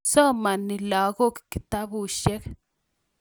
somani lagok kitabushek